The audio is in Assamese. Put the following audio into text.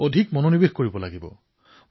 ক্ৰিয়াশীল হৈ থকাৰ অভ্যাস কৰিব লাগিব